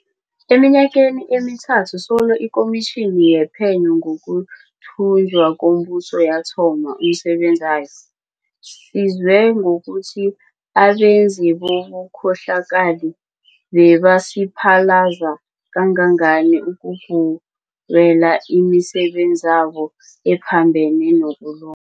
Eminyakeni emithathu solo iKomitjhini yePhenyo ngokuThunjwa komBuso yathoma umsebenzayo, sizwe ngokuthi abenzi bobukhohlakali bebasiphalaza kangangani ukugubela imisebenzabo ephambene nokulu